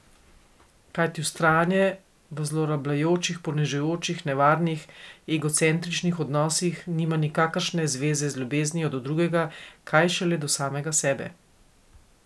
Kajti vztrajanje v zlorabljajočih, ponižujočih, nevarnih, egocentričnih odnosih nima nikakršne zveze z ljubeznijo do drugega, kaj šele do samega sebe!